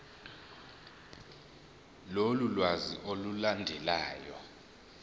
lolu lwazi olulandelayo